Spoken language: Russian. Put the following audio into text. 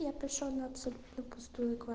я пришёл на абсолютно пустую ква